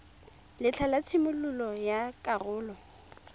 letlha la tshimololo ya karolo